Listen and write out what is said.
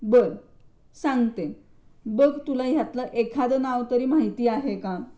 बर सांगते. बघ तुला ह्यातलं एखादं नाव तरी माहिती आहे का?